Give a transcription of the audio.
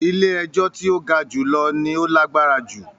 “ilé-ẹjọ́ tí ó ga jùlọ " ni ó lágbára jù.